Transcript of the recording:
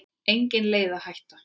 Engin leið að hætta.